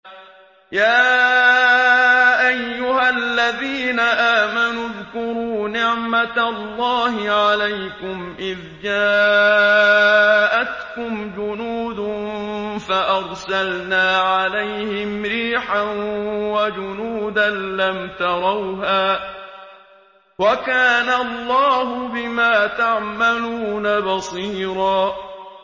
يَا أَيُّهَا الَّذِينَ آمَنُوا اذْكُرُوا نِعْمَةَ اللَّهِ عَلَيْكُمْ إِذْ جَاءَتْكُمْ جُنُودٌ فَأَرْسَلْنَا عَلَيْهِمْ رِيحًا وَجُنُودًا لَّمْ تَرَوْهَا ۚ وَكَانَ اللَّهُ بِمَا تَعْمَلُونَ بَصِيرًا